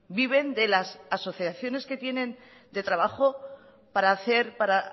viven de las asociaciones que tienen de trabajo para hacer para